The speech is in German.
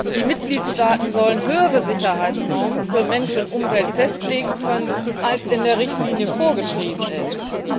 Die Mitgliedstaaten sollen höhere Sicherheitsnormen für Mensch und Umwelt festlegen können, als in der Richtlinie vorgeschrieben sind.